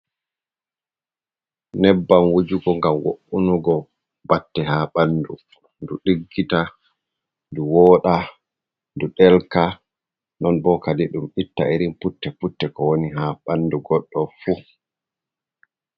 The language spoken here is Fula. Nyebbam wujugo ngam wo’unugo batte ha ɓanɗu ndu ɗiggita, ndu woda, du ɗelka, non bo kadi ɗum itta irin putte-putte ko woni ha ɓandu goɗɗo fu.